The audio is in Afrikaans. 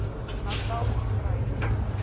natalspruit